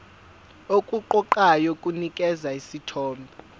okuqoqayo kunikeza isithombe